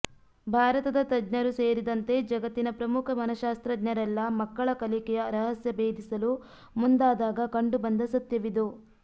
ಭಾರತದ ತಜ್ಞರೂ ಸೇರಿದಂತೆ ಜಗತ್ತಿನ ಪ್ರಮುಖ ಮನಶಾಸ್ತ್ರಜ್ಞರೆಲ್ಲ ಮಕ್ಕಳ ಕಲಿಕೆಯ ರಹಸ್ಯ ಬೇಧಿಸಲು ಮುಂದಾದಾಗ ಕಂಡುಬಂದ ಸತ್ಯವಿದು